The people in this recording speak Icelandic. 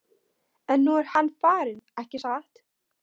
En nú er hann farinn, ekki satt?